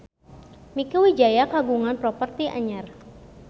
Mieke Wijaya kagungan properti anyar